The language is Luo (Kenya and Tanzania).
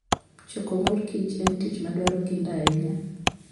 Choko mor kich en tich madwaro kinda ahinya.